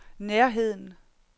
nærheden